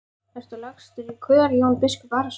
Ertu lagstur í kör Jón biskup Arason?